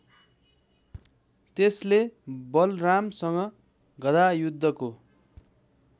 त्यसले बलरामसँग गधायुद्धको